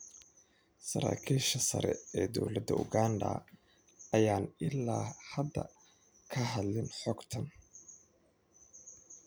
Saraakiisha sare ee dowladda Uganda ayaan ilaa hadda ka hadlin xogtan.